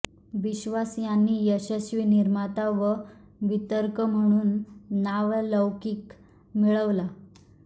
विश्वास यांनी यशस्वी निर्माता व वितरक म्हणून नावलौकिक मिळवला